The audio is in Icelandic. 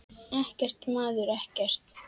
Ekkert, maður, ekkert.